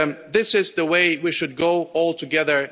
This is the way we should go, all together.